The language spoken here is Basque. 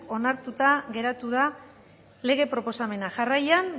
onartuta geratu da lege proposamena jarraian